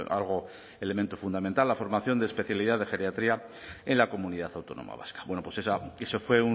algo elemento fundamental la formación de especialidad de geriatría en la comunidad autónoma vasca bueno pues eso fue